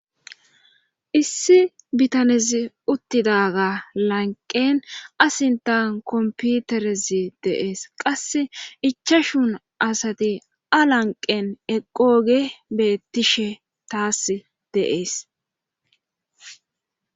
Issi bitanezi uttidaga lanqen asintan komputerezi deees qasse ichashun asati a lanqen eqqooge beettishe taas deees.